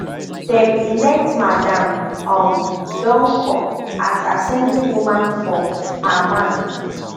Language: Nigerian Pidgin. dem elect madam um donkor as assembly woman for herman